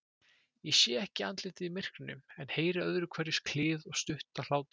Ég sé ekki andlitin í myrkrinu, en heyri öðruhverju klið og stutta hlátra.